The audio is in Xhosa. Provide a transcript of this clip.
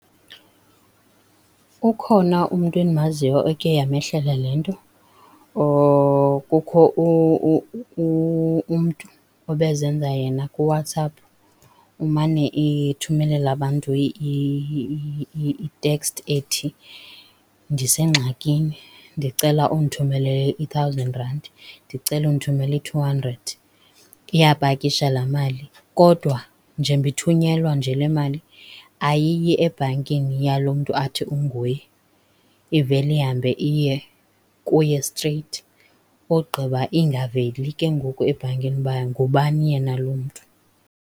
Ukhona umntu endimaziyo ekhe yamehlela le nto kukho umntu obezenza yena kuWhatsapp, umane ethumelela abantu iteksti ethi ndisengxakini, ndicela undithumelele i-thousand rand, ndicela undithumelele i-two hundred, iyapakisha laa mali. Kodwa njengoba ithunyelwa nje le mali ayiyi ebhankini yalo mntu athi unguye, ivele ihambe iye kuye streyithi ogqiba ingaveli ke ngoku ebhankini uba ngubani yena lo mntu.